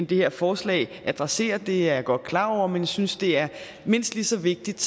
det her forslag adresserer det er jeg godt klar over men jeg synes det er mindst lige så vigtigt